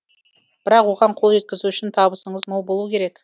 бірақ оған қол жеткізу үшін табысыңыз мол болуы керек